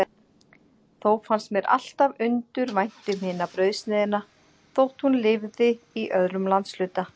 Þó fannst mér alltaf undur vænt um hina brauðsneiðina, þótt hún lifði í öðrum landshluta.